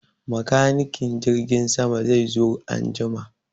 Makanikin jirgin sama zai zo an jima.